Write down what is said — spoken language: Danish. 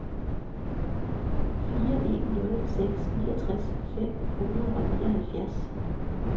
fire en nul seks niogtres fem hundrede og nioghalvfjerds